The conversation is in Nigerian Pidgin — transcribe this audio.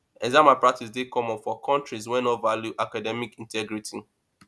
exam malpractice dey common for countries wey no value academic integrity